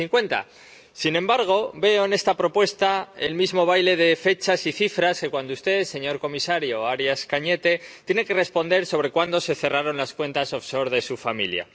2050. Sin embargo, veo en esta propuesta el mismo baile de fechas y cifras que cuando usted, señor comisario Arias Cañete, tiene que responder sobre cuándo se cerraron las cuentas de su familia.